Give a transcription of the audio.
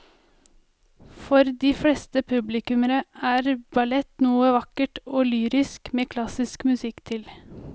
For de fleste publikummere er ballett noe vakkert og lyrisk med klassisk musikk til.